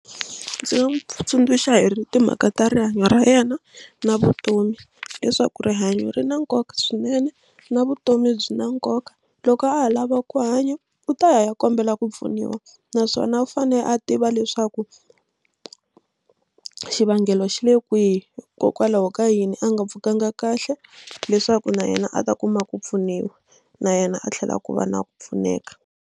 Ndzi nga n'wi tsundzuxa hi timhaka ta rihanyo ra yena na vutomi leswaku rihanyo ri na nkoka swinene na vutomi byi na nkoka. Loko a ha lava ku hanya u ta ya ya kombela ku pfuniwa naswona u fane a tiva leswaku xivangelo xi le kwihi hikokwalaho ka yini a nga pfukanga kahle leswaku na yena a ta kuma ku pfuniwa na yena a tlhela ku va na ku pfuneka.